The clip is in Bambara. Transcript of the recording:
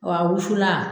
Wa a wusulan